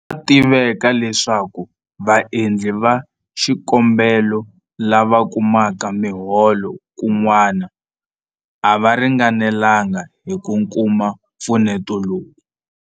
Swa tiveka leswaku vaendli va xikombelo lava kumaka miholo kun'wana a va ringanelanga hi ku kuma mpfuneto lowu.